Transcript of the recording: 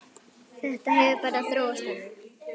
Þetta hefur bara þróast þannig.